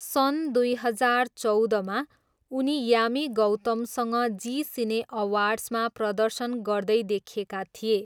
सन् दुई हजार चौधमा, उनी यामी गौतमसँग जी सिने अवार्ड्समा प्रदर्शन गर्दै देखिएका थिए।